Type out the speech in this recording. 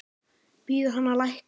Biður hann að lækka.